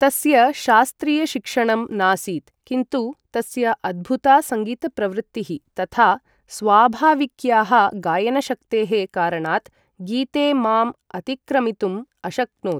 तस्य शास्त्रीयशिक्षणं नासीत् किन्तु तस्य अद्भुता सङ्गीतप्रवृत्तिः तथा स्वाभाविक्याः गायनशक्तेः कारणात् गीते माम् अतिक्रमितुं अशक्नोत्।